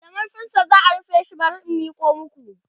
da marfinsa za'a rufe shi bari in Miko maku